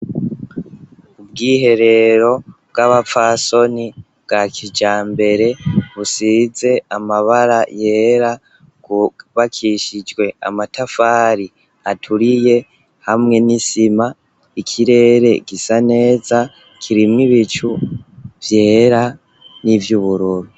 Ubwiherero bw'abapfasoni bwa kijambere busize amabara yera bwubakishijwe amatafari aturiye hamwe n'isima ikirere gisa neza kirimwo ibicu vyera n'ivyubururu.